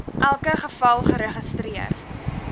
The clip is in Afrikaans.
elke geval geregistreer